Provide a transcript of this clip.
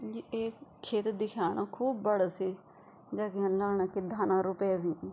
यी एक खेत दिख्येणु खूब बडू सी जख यन लगाणा की धाना रुपे हुईं।